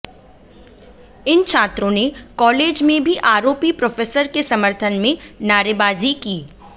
इन छात्रों ने कॉलेज में भी आरोपी प्रोफेसर के समर्थन में नारेबाजी की